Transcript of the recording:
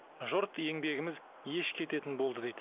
жұрт еңбегіміз еш кететін болды дейді